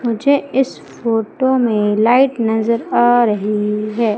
मुझे इस फोटो में लाइट नजर आ रही है।